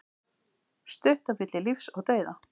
Stutt á milli lífs og dauða